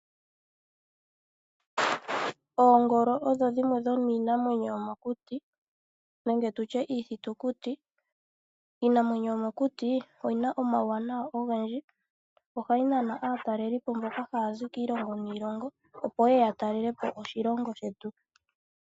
Oongolo odho dhimwe dhominamwenyo yomokuti nenge tulye iithitukutu. Iinamwenyo yomokuti oyina omawuwanawa ogendji ohayi nana aatalelipo mboka hazi kiilongo niilongo opo yeye yatalelepo Oshilonga shetu.